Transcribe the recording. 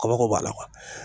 Kabako b'a la